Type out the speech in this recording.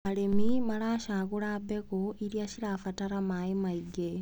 Arĩmi maracagũra mbegũ iria citarabatara maĩ maingĩ.